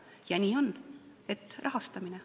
Ja nii on – rahastamine.